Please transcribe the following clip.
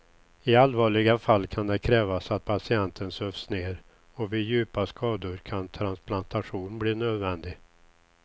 I allvarliga fall kan det krävas att patienten sövs ner och vid djupa skador kan transplantation bli nödvändig.